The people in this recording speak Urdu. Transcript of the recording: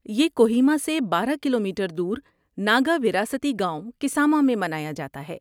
یہ کوہیما سے بارہ کیلو میٹر دور ناگا وراثتی گاؤں، کساما میں منایا جاتا ہے